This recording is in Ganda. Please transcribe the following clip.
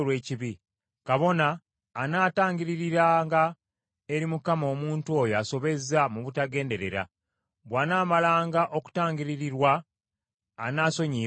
Kabona anaatangiririranga, eri Mukama , omuntu oyo asobezza mu butagenderera; bw’anaamalanga okutangiririrwa, anaasonyiyibwanga.